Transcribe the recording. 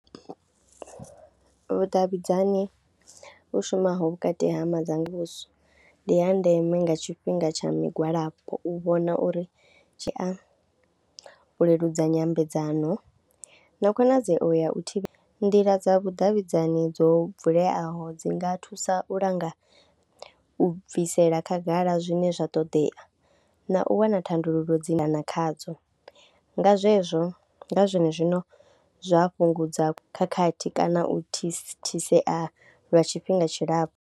Vhudavhidzani vhu shumaho vhukati ha madzanga muvhuso ndi ya ndeme nga tshifhinga tsha migwalabo u vhona uri zwi a leludza nyambedzano na khonadzeo ya u thivha, nḓila dza vhudavhidzani dzo vuleaho dzi nga thusa u langa u bvisela khagala zwine zwa ṱoḓea na u wana thandululo dzi na khadzo nga zwezwo nga zwone zwino zwa fhungudza khakhathi kana u thithisea lwa tshifhinga tshilapfhu.